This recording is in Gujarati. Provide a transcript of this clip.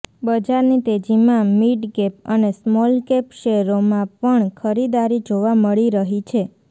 બજારની તેજીમાં મિડકેપ અને સ્મોલકેપ શેરોમાં પણ ખરીદારી જોવા મળી રહી છે